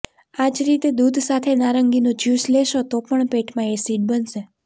આ જ રીતે દૂધ સાથે નારંગીનું જ્યુસ લેશો તો પણ પેટમાં એસિડ બનશે